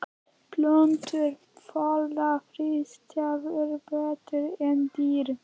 Plöntur þola þrístæður betur en dýr.